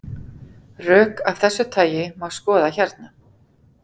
Rök af þessu tagi má skoða hérna.